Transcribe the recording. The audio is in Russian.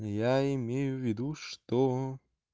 я имею в виду что